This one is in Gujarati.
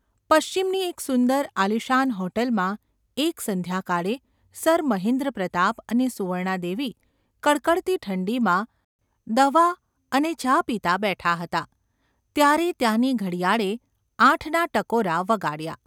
પશ્ચિમની એક સુંદર આલીશાન હોટેલમાં એક સંધ્યાકાળે સર મહેન્દ્રપ્રતાપ અને સુવર્ણાદેવી કડકડતી ઠંડીમાં દવા અને ચા પીતાં બેઠાં હતાં ત્યારે ત્યાંની ઘડિયાળે આઠના ટકોરા વગાડ્યા.